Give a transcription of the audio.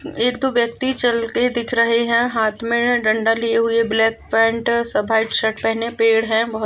एक दो व्यक्ति चलते दिख रहे है हाथ में डंडा लिए हुवे ब्लैक पैंट सफेद शर्ट पहने पेड़ है बहुत--